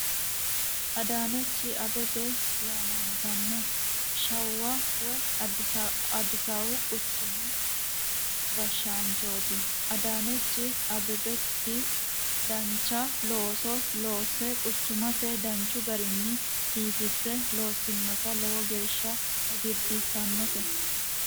Adanech abebe yaamantanno shawa woyi adisaabu quchumu hashaanchoti adanechi abebeti dancha looso loose quchumase danchu garini biifise loosinoti lowo geesha hagirisisanote